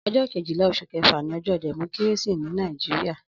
Ọjọ kéjilà óṣú kẹfà ni ọjọ dẹmọkìrésí ni Nàijiriá